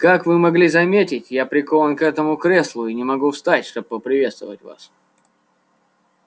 как вы могли заметить я прикован к этому креслу и не могу встать чтобы поприветствовать вас